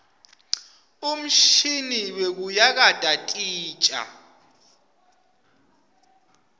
umshini wekuyakata titja